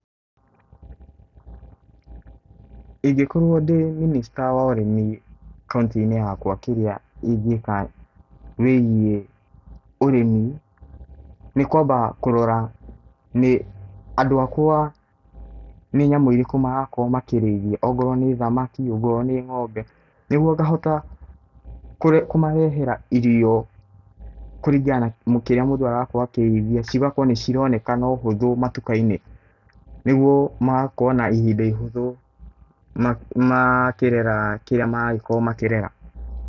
Ingĩkorwo ndĩ mĩnĩsta wa ũrĩmi kaũntĩ inĩ yakwa kĩrĩa ĩngĩka wĩgiĩ ũrĩmi , nĩkwamba kũrora nĩ andũ a kwa nĩ nyamũ irĩkũ marakorwo makĩ rĩithia ongorwo nĩ thamaki ongorwo nĩ ng'ombe nĩgũo ngahota kũmarehera irio kũrĩngana na kĩrĩa mũndũ arakorwo akĩrĩithia cigakorwo nĩ cironekana na ũhũthũ matũkainĩ nĩ gũo magakorwo na ĩhĩnda ũhũthũ kaĩrera kĩrĩa marakorwo makĩrera.